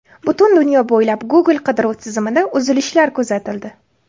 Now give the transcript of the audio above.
Butun dunyo bo‘ylab Google qidiruv tizimida uzilishlar kuzatildi.